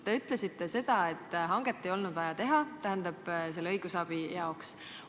Te ütlesite, et hanget ei olnud vaja teha selle õigusabi jaoks.